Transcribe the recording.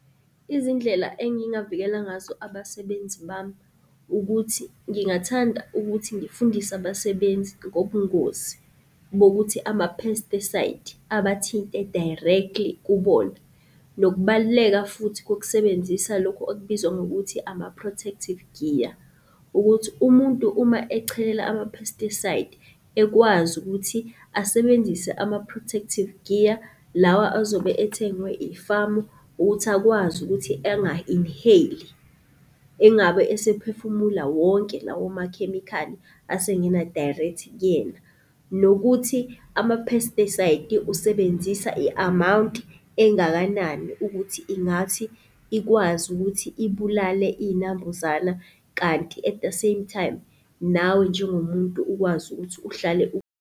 Izindlela engingavikela ngazo abasebenzi bami ukuthi ngingathanda ukuthi ngifundise abasebenzi ngobungozi bokuthi ama-pesticide abathinte directly kubona, nokubaluleka futhi kokusebenzisa lokhu okubizwa ngokuthi ama-protective gear. Ukuthi umuntu uma echelela ama-pesticide ekwazi ukuthi asebenzise ama-protective gear lawa azobe ethengwe ifamu ukuthi akwazi ukuthi enga-inhale-i, engabe esephefumula wonke lawo makhemikhali asengena direct kuyena. Nokuthi ama-pesticide-i usebenzisa i-amawunti engakanani ukuthi ingathi ikwazi ukuthi ibulale iy'nambuzana. Kanti at the same time nawe njengomuntu ukwazi ukuthi uhlale